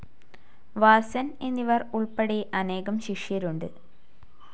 വാസൻ എന്നിവർ ഉൾപ്പെടെ അനേകം ശിഷ്യരുണ്ട്.